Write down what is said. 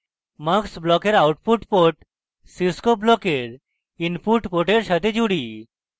mux ব্লকের output port cscope ব্লকের input port সাথে জুড়ি